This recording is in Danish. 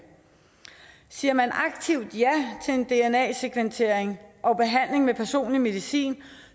siger man aktivt ja til en dna sekventering og behandling med personlig medicin